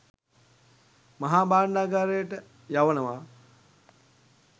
මහා භාණ්ඩගාරයට යවනවා